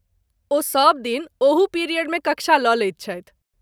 ओ सबदिन ओहू पीरियडमे कक्षा लऽ लैत छथि।